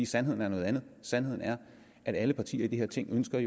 sandheden er noget andet sandheden er at alle partier i det her ting jo ønsker at